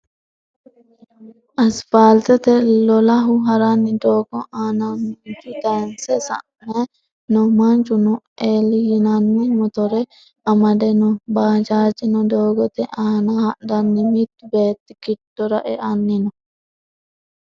Asfaaltete lolahu haranni doogo aanaannanchu tayinse sa"anni no. Manchuno Elli yinanni motore amade no. Baajaajino doogote aanahadhanna mittu beetti giddora eanni no.